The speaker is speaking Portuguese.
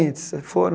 foram